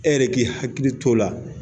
E yɛrɛ k'i hakili t'o la.